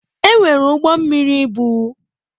Enwere ụgbọ mmiri ibu.